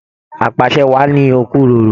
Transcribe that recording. Apasẹ́ wáá ni okuroro.